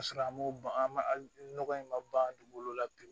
Ka sɔrɔ an m'o ban an nɔgɔ in ma bangolo la bi